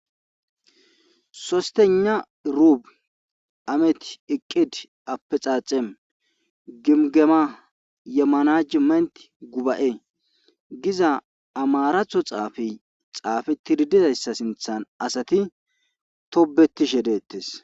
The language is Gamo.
sostena ruub amet iqqid appe xaaxem gimgema yemmana ji maynti guba7e giza amaraatho xaafe xaafe tiridizayssa sinthan asati tobetishe deettes